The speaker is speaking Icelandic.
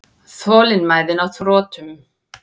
Þolinmæðin á þrotum.